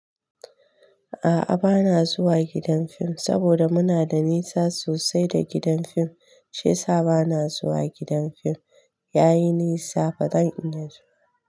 A'a bana zuwa gidan fim saboda muna da nisa sosai da gidan fim shiyasa bana zuwa gidan fim yayi nisa ba zan iya zuwa.